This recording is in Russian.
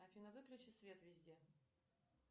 афина выключи свет везде